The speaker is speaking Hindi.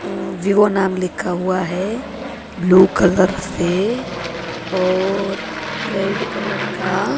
अह वीवो नाम लिखा हुआ है ब्लू कलर से और रेड कलर का--